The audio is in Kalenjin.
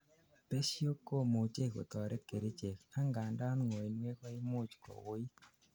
besho komuchei kotoret kerichek, angandan ngoinwek koimuch kowuuit